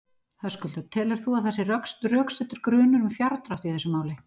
Höskuldur: Telur þú að það sé rökstuddur grunur um fjárdrátt í þessu máli?